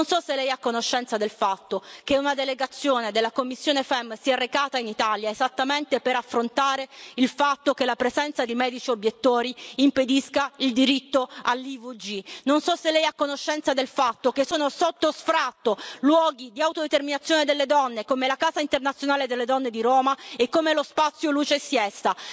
Non so se Lei è a conoscenza del fatto che una delegazione della commissione FEMM si è recata in Italia esattamente per affrontare il fatto che la presenza di medici obiettori impedisca il diritto all'interruzione volontaria di gravidanza. Non so se Lei è a conoscenza del fatto che sono sotto sfratto luoghi di autodeterminazione delle donne come la Casa internazionale delle donne di Roma e come lo spazio Luce e siesta.